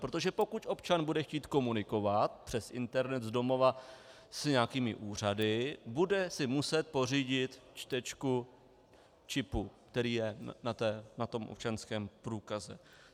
Protože pokud občan bude chtít komunikovat přes internet z domova s nějakými úřady, bude si muset pořídit čtečku čipu, který je na tom občanském průkaze.